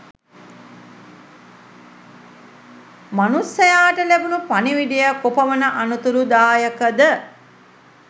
මනුස්සයාට ලැබුණු පණිවිඩය කොපමණ අනතුරුදායකද?